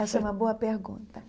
Essa é uma boa pergunta.